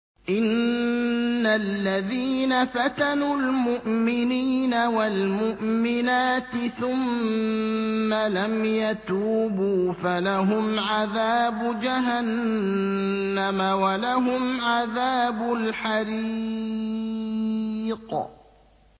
إِنَّ الَّذِينَ فَتَنُوا الْمُؤْمِنِينَ وَالْمُؤْمِنَاتِ ثُمَّ لَمْ يَتُوبُوا فَلَهُمْ عَذَابُ جَهَنَّمَ وَلَهُمْ عَذَابُ الْحَرِيقِ